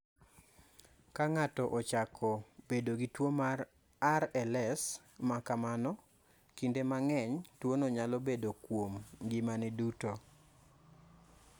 Ka ng�ato ochako bedo gi tuo mar RLS ma kamano, kinde mang�eny, tuono nyalo bedo kuom ngimani duto.